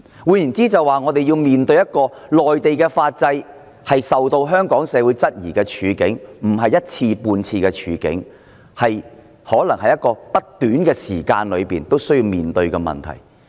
換言之，我們可能不止一次半次要面對內地法制受到香港社會質疑的處境，在不短的時間內我們可能仍要面對這個問題。